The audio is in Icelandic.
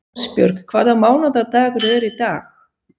Ásbjörg, hvaða mánaðardagur er í dag?